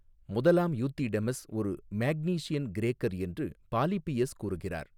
முதலாம் யூத்திடெமஸ் ஒரு மேக்னீசியன் கிரேக்கர் என்று பாலிபியஸ் கூறுகிறார்.